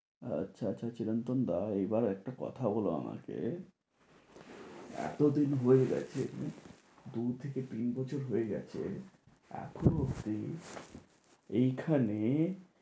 আচ্ছা আচ্ছা চিরন্তন দা এইবার একটা কথা বলো আমাকে এতদিন হয়ে গেছে দু থেকে তিন বছর হয়ে গেছে এখনো অবধি এই খানে